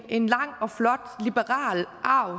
en lang og flot liberal arv